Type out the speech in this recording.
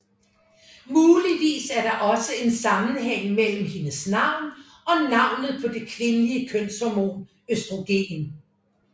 Muligvis er der også en sammenhæng mellem hendes navn og navnet på det kvindelige kønshormon østrogen